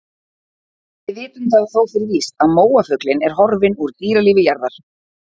Við vitum það þó fyrir víst að móafuglinn er horfinn úr dýralífi jarðar.